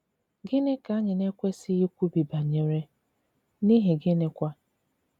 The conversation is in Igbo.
Gịnị ka anyị na - ekwesịghị ikwubi banyere, n’ihi gịnịkwa?